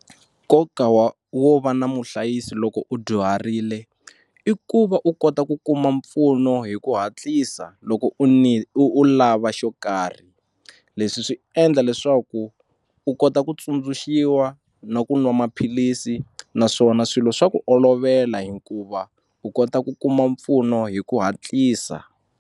Nkoka wa wo va na muhlayisi loko u dyuharile i ku va u kota ku kuma mpfuno hi ku hatlisa loko u u u lava xo karhi leswi swi endla leswaku u kota ku tsundzuxiwa na ku nwa maphilisi naswona swilo swa ku olovela hikuva u kota ku kuma mpfuno hi ku hatlisa.